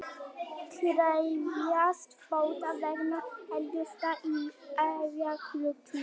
Krefjast bóta vegna eldgossins í Eyjafjallajökli